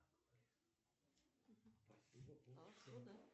какие виды русское зарубежье ты знаешь